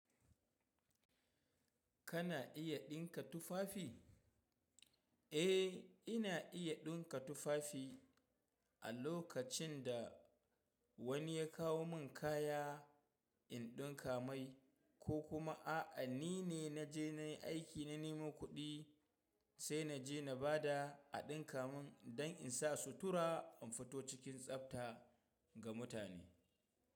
Kana iya ɗinka tufafi? Eh, ina iya ɗinka tufafi. A lokacin da wani ya kawo min kaya in ɗinka mai ko kuma a'a ni ne na je na yi aiki na nemo kuɗi sai na je na ba da a ɗinka mun don in sa sutura in fito cikin tsafta ga mutane.